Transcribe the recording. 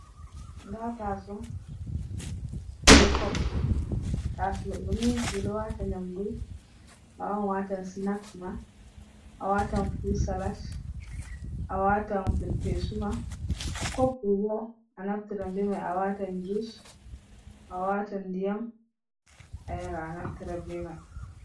Nda taso be kob taso doni ɓeɗo watan yamdu a wawan awatan sinak ma a watan furut salat a watan ferfesuma kop bo a naftiran be mai a watan jus a watan ndiyam a yara naftira ɓe mai.